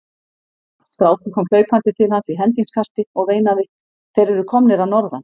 Strákur kom hlaupandi til hans í hendingskasti og veinaði:-Þeir eru komnir að norðan!